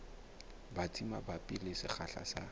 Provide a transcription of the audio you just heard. batsi mabapi le sekgahla sa